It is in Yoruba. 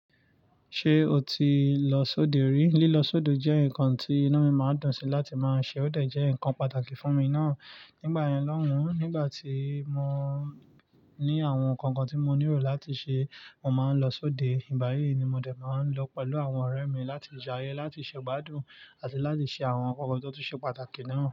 Ṣé o ti lọ sóde rí? Lílo sódò jẹ́ ǹkan tí inu mi máa ń dùn sí láti máa ṣe ó dẹ̀ jẹ́ ǹkan pàtàkì fún mi náà. Nígbà yen lọ́hùn, nígbà tí mo ní àwọn nǹkan kan tí mo nílò láti ṣe, mo máa ń lọ sóde. Ìgbayi ni mo dè máa ń lọ pẹ̀lú àwọn ọ̀rẹ́ mi láti jaye, láti ṣe gbádùn àti láti ṣe àwọn nǹkan kan tó ti ṣe pàtàkì náà.